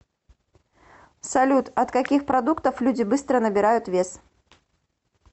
салют от каких продуктов люди быстро набирают вес